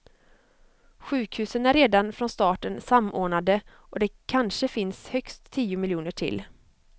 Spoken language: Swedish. Sjukhusen är redan från starten samordnade och det kanske finns högst tio miljoner till.